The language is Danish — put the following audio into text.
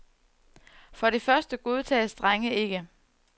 For det første godtages drenge ikke.